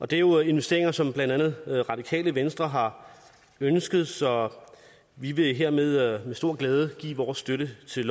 det er jo investeringer som blandt andet radikale venstre har ønsket så vi vil hermed med stor glæde give vores støtte til